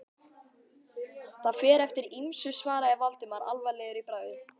Það fer eftir ýmsu- svaraði Valdimar alvarlegur í bragði.